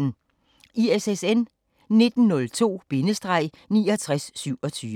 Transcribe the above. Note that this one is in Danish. ISSN 1902-6927